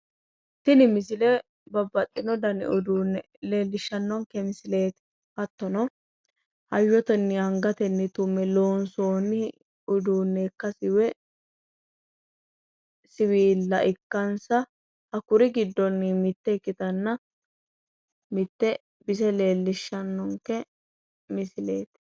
tini misile babaxino dani uduunne leellishshannonke misileeti hattono hayyotenni angatenni tumme loonsoonni uduunne ikkasi woyi siwiilla ikkansa hakkuri giddonni mitte ikkitanna mitte bise leellishshannonke misileeti.